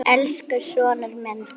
Elsku sonur minn.